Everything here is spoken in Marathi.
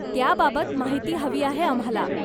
त्याबाबत माहिती हवी आहे आम्हाला.